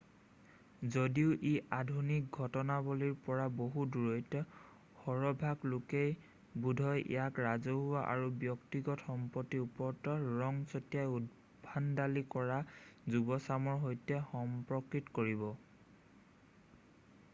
যদিও ই আধুনিক ঘটনাৱলীৰ পৰা বহু দূৰৈত সৰহভাগ লোকেই বোধহয় ইয়াক ৰাজহুৱা আৰু ব্যক্তিগত সম্পত্তিৰ ওপৰত ৰং ছটিয়াই উদ্ভণ্ডালি কৰা যুৱচামৰ সৈতেহে সম্পৰ্কিত কৰিব